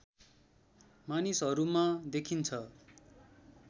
मानिसहरूमा देखिन्छ